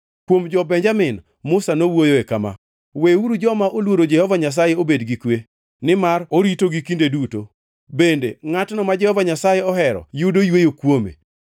Kuom jo-Benjamin, Musa nowuoyoe kama: “Weuru joma oluoro Jehova Nyasaye obed gi kwe, nimar oritogi kinde duto, bende ngʼatno ma Jehova Nyasaye ohero yudo yweyo kuome.”